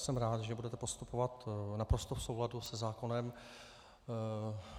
Jsem rád, že budete postupovat naprosto v souladu se zákonem.